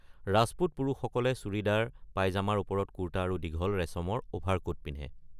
ৰাজপুত পুৰুষসকলে চুৰিদাৰ পাইজামাৰ ওপৰত কুৰ্তা আৰু দীঘল ৰেচমৰ অভাৰকোট পিন্ধে।